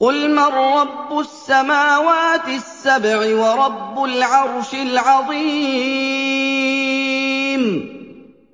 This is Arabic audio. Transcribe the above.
قُلْ مَن رَّبُّ السَّمَاوَاتِ السَّبْعِ وَرَبُّ الْعَرْشِ الْعَظِيمِ